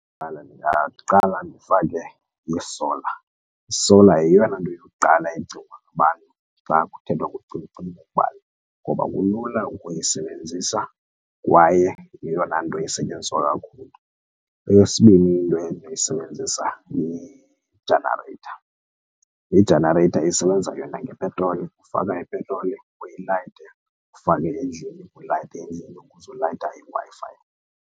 Kuqala ndingaqala ndifake i-solar. I-solar yeyona nto yokuqala ecingwa ngabantu xa kuthethwa ngokucima kombane ukuba ngoba kulula ukuyisebenzisa kwaye yeyona nto isetyenziswa kakhulu. Eyesibini into endinoyisebenzisa yi-generator i- generator isebenza yona ngepetroli ufaka ipetroli uyilayite ufake endlini ulayite endlini ukuze ulayite iWi-Fi.